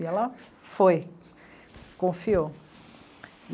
E ela foi, confiou.